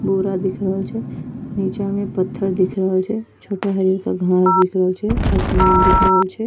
बोरा दिख रहल छै नीचा में पत्थर दिख रहल छै छोटा हरियरका घांस दिख रहल छै आसमान दिख रहल छै।